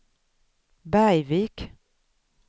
Bergvik